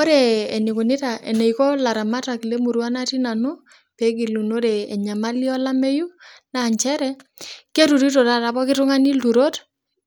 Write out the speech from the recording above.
Ore eneikonita, eneiko laramatak le emurua natii nanu, peegilunore enyamali elameiyu naa inchere keturuto taata pooki tungani irturot